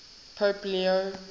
pope leo